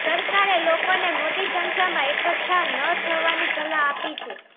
સરકારે લોકોને મોટી સંખ્યામાં એકઠા ન થવાની સલાહ આપી છે